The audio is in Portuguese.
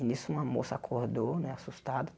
E nisso uma moça acordou, né, assustada.